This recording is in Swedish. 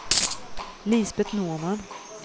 Lisbet Norman